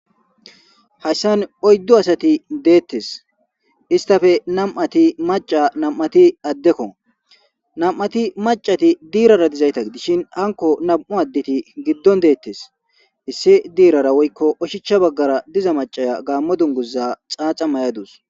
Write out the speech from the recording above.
Haysan oydu asati detes istape nam'ati maca nam'ati adeko nam'ati macati dirara dizayta gidishin hanko nam'u adeti gidon detes issi dirara woyko oshicha bagara diza macaya Gamo dunguza xaxa mayadus